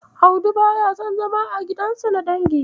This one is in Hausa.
Audi baya son zama a gidansu na dangi.